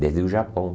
Desde o Japão.